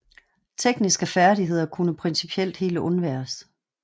Tekniske færdigheder kunne principielt helt undværes